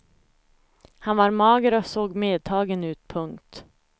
Han var mager och såg medtagen ut. punkt